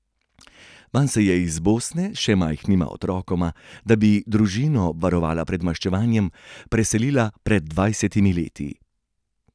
Vanj se je iz Bosne s še majhnima otrokoma, da bi družino obvarovala pred maščevanjem, preselila pred dvajsetimi leti.